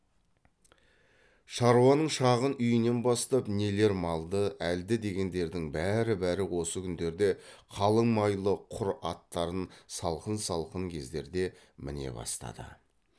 шаруаның шағын үйінен бастап нелер малды әлді дегендердің бәрі бәрі осы күндерде қалың майлы құр аттарын салқын салқын кездерде міне бастады